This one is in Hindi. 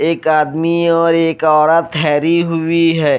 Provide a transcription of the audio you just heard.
एक आदमी और एक औरत ठहरी हुई है।